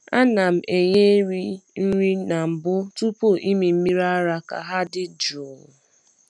A na m enye ehi nri na mbụ tupu ịmị mmiri ara ka ha dị jụụ.